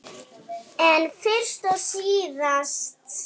En fyrst og síðast.